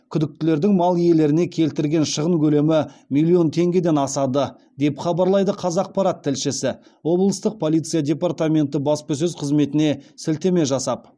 күдіктілердің мал иелеріне келтірген шығын көлемі миллион теңгеден асады деп хабарлайды қазақпарат тілшісі облыстық полиция департаменті баспасөз қызметіне сілтеме жасап